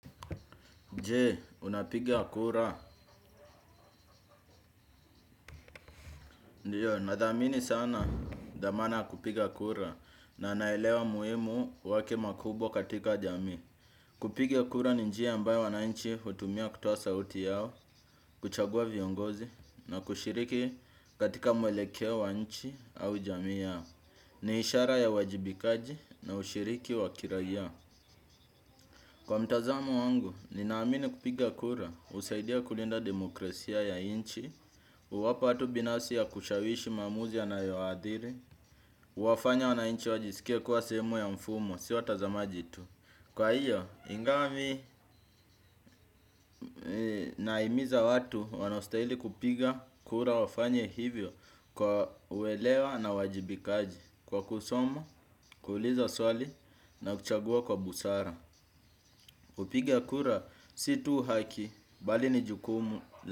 Jee, unapiga kura. Ndiyo, nadhamini sana dhamana ya kupiga kura na naelewa muhimu wake makubwa katika jamii. Kupiga kura ni njia ambayo wananchi hutumia kutoa sauti yao, kuchagua viongozi na kushiriki katika mwelekeo wa nchi au jamii yao. Ni ishara ya uwajibikaji na ushiriki wa kirayia. Kwa mtazamo wangu, ninaamini kupiga kura, husaidia kulinda demokrasia ya nchi, uwapa watu binafsi ya kushawishi maamuzi yanayo waadhiri, uwafanya wananchi wajisikie kuwa sehemu ya mfumo, si watazamaji tu. Kwa hiyo, ingawa mi nahimiza watu wanaostahili kupiga kura wafanye hivyo kwa uelewa na uwajibikaji kwa kusoma, kuuliza swali na kuchagua kwa busara. Upiga kura si tu haki bali ni jukumu.